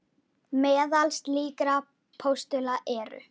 Meðal slíkra postula eru